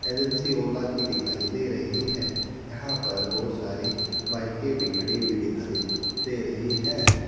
Agency Ola की दिखाई दे रही है यहां पर बहुत सारी बाइके भी खड़ी हुई दिखाई दे रही हैं।